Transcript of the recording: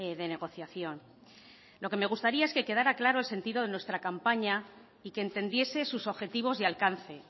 de negociación lo que me gustaría es que quedara claro el sentido de nuestra campaña y que entendiese sus objetivos y alcance